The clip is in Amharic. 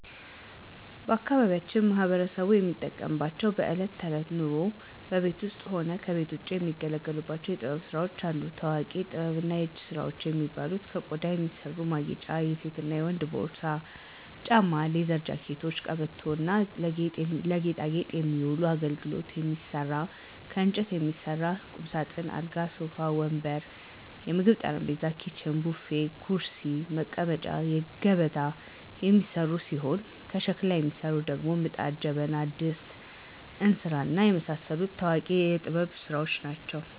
ባአካባቢያችን ማህበረሰቡ የሚጠቀምባቸው በእለት ተእለት ኑሮው በቤት ውስጥም ሆነ ከቤት ውጭ የሚገለገሉባቸው የጥበብ ስራዎች አሉ። ታዎቂ የጥበብና የእጅ ስራዎች የሚባሉ ከቆዳ የሚሰሩ ማጌጫ የሴትና የወንድ ፖርሳ፣ ጫማዎች፣ ሌዘር ጃኬቶች፣ ቀበቶ እና ለጌጣጌጥ የሚውሉ አገልግሎች ይሰራሉ። ከእንጨት የሚሰሩ ቁምሳጥን፣ አልጋ፣ ሶፋ ወንበር፣ የምግብ ጠረጴዛ፣ ኪችን፣ ቡፌ፣ ኩርሲ፣ ሙቀጫ፣ ገበታ የሚሰሩ ሲሆን ከሸክላ የሚሰሩት ደግሞ ምጣድ፣ ጀበና፣ ድስት፣ እንስራ፣ እና የመሳሰሉት ታዎቂ የጥበብ ስራዎች ይሰራሉ።